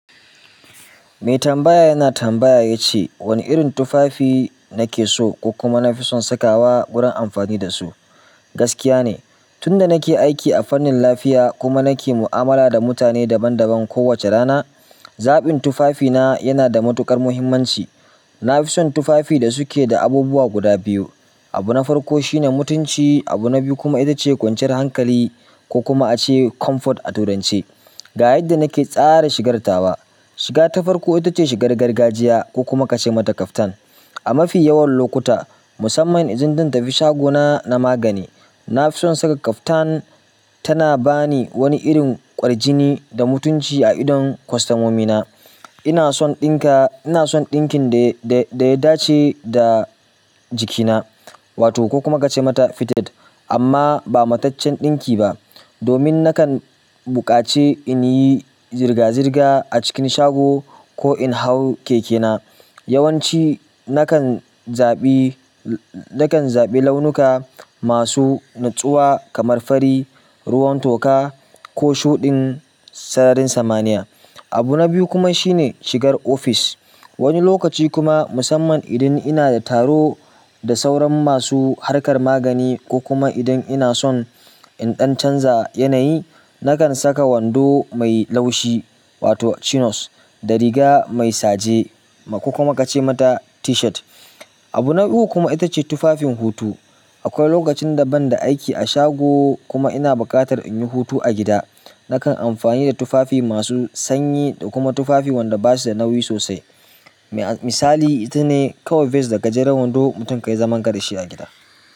Mai tambaya yana tambaya yace wani irin tufafi nake so ko kuma nafison sakawa gurin amfani dasu. Gaskiya ne, tunda nake aiki a fannin lafiya kuma nake mu'amala da mutane daban-daban kowace rana, zaɓin tufafina yana da matuƙar muhimmanci. Na fi son tufafi da suke da abubuwa guda biyu. Abu na farko shine mutunci, abu na biyu kuma ita ce kwanciyar hankali ko kuma a ce comfort a turance. Ga yadda nake tsara shigartawa. Shiga ta farko ita ce shigar gargajiya ko kuma ka ce mata kaftan. A mafi yawan lokuta, musamman idan zan tafi shagona na magani, na fi son saka kaftan tana ba ni wani irin ƙwarjini da mutunci a idon kwastamomi na. Ina son ɗinka, ina son ɗinkin da, da, da ya dace da jikina, wato ko kuma ka ce mata fitted, amma ba mataccen ɗinki ba. Domin nakan buƙace in yi zirga-zirga a cikin shago ko in hau keke na. Yawanci nakan zaɓi, nakan zaɓi launuka masu natsuwa kamar fari, ruwan toka ko shuɗin sararin samaniya. Abu na biyu kuma shine shigar ofis. Wani lokaci kuma, musamman idan ina da taro da sauran masu harkar magani ko kuma idan ina son in ɗan canza yanayi, nakan saka wando mai laushi wato chinos da riga mai saje ko kuma ka ce mata t-shirt. Abu na uku kuma ita ce tufafin hutu. Akwai lokacin da ban da aiki a shago kuma ina buƙatar in yi hutu a gida. Nakam amfani da tufafi masu sanyi da kuma tufafi wanda basuda nauyi sosai misali, ita ne kawai vest da gajeren wando mutum ka yi zaman kada shi a gida.